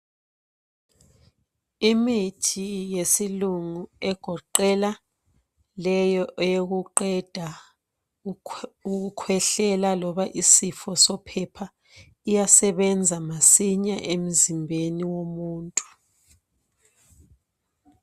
Imithi yesilungu egoqela leyo eyokuqeda ukukhwehlela loba isifo sophepha iyasebenza masinya emzimbeni womuntu.